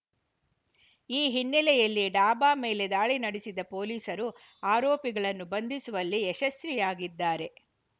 ಈ ಹಿನ್ನೆಲೆಯಲ್ಲಿ ಡಾಬಾ ಮೇಲೆ ದಾಳಿ ನಡೆಸಿದ ಪೊಲೀಸರು ಆರೋಪಿಗಳನ್ನು ಬಂಧಿಸುವಲ್ಲಿ ಯಶಸ್ವಿಯಾಗಿದ್ದಾರೆ